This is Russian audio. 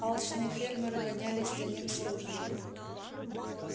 алчные фермеры гонялись за ним с ружьями